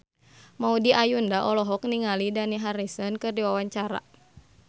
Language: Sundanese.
Maudy Ayunda olohok ningali Dani Harrison keur diwawancara